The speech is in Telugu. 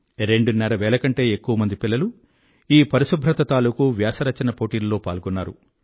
రెండున్నర వేల కంటే ఎక్కువమంది పిల్లలు ఈ పరిశుభ్రత తాలుకు వ్యాస రచన పోటీల్లో పాల్గొన్నారు